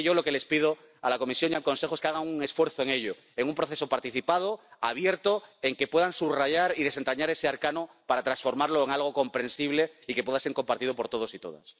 Así que yo lo que les pido a la Comisión y al Consejo es que hagan un esfuerzo en ello, en un proceso participado, abierto, en que puedan subrayar y desentrañar ese arcano para transformarlo en algo comprensible y que pueda ser compartido por todos y todas.